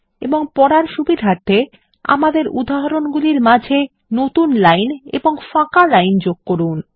এবং পড়ার সুবিধার্থে আমাদের উদাহরন্গুলির মাঝে নতুন লাইন এবং ফাঁকা লাইন যোগ করুন